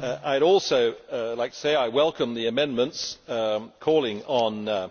I also welcome the amendments calling for